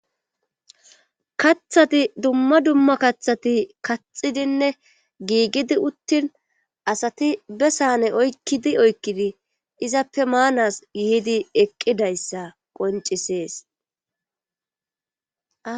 kathati dumma dumma kathati kaxidinne giigidi uttin asati be saane oykkidi oykkidi izappe maanas yihidi eqqidayssa qoncisees